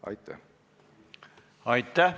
Aitäh!